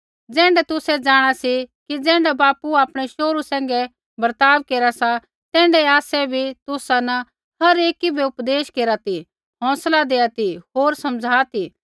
ज़ैण्ढा तुसै जाँणा सी कि ज़ैण्ढा बापू आपणै शोहरू सैंघै बर्ताव केरा सा तैण्ढाऐ आसै बी तुसा न हर एकी बै उपदेश केरा ती हौंसला दैआ ती होर समझ़ा ती